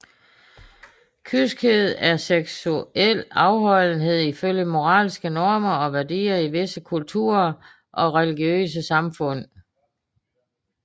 Kyskhed er seksuel afholdenhed ifølge moralske normer og værdier i visse kulturer og religiøse samfund